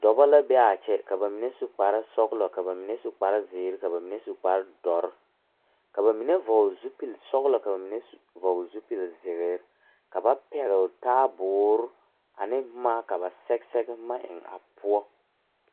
Doɔbo la be a kyɛ ka ba mene su bon sɔglɔ, Ka ba mene su kpar ziire, ka ba mene su kpar duor. Ka ba mene vogle zupul sɔglɔ ka ba mene vogle zupul ziire. Ka ba pɛgle taabuur ane boma ka ba sɛge sɛge boma eŋ a poʊ.